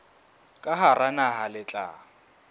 ka hara naha le tla